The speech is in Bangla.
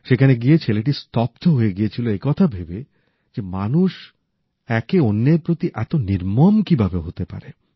সেখানে গিয়ে ছেলেটি স্তব্ধ হয়ে গিয়েছিল এ কথা ভেবে যে মানুষ একে অন্যের প্রতি এত নির্মম কিভাবে হতে পারে